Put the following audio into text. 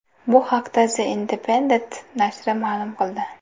Bu haqda The Independent nashri ma’lum qildi .